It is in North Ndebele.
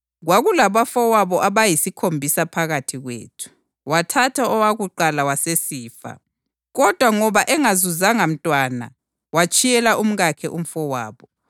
Kwakulabafowabo abayisikhombisa phakathi kwethu. Wathatha owakuqala wasesifa, kwathi ngoba engazuzanga mntwana watshiyela umkakhe umfowabo.